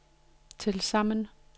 tilsammen